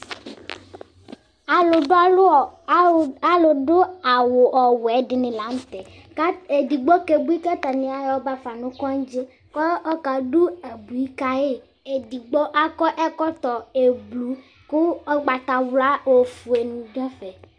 Alu du awu ɔwɛ dini la nu tɛ ku edigbo kebui katani ayɛbafa nu kɔdzi ku ɔka du abui kayi edigbo akɔ ɛkɔtɔ ublu ku ugbatawla ofue ni du ɛfɛ